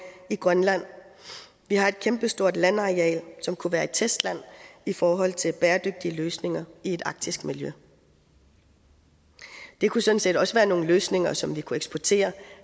i grønland vi har et kæmpestort landareal som kunne være et testland i forhold til bæredygtige løsninger i et arktisk miljø det kunne sådan set også være nogle løsninger som vi kunne eksportere